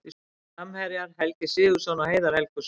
Framherjar: Helgi Sigurðsson og Heiðar Helguson.